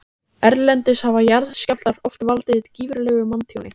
Erlendis hafa jarðskjálftar oft valdið gífurlegu manntjóni.